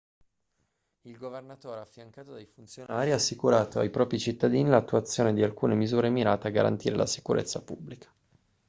il governatore affiancato dai funzionari ha assicurato ai propri cittadini l'attuazione di alcune misure mirate a garantire la sicurezza pubblica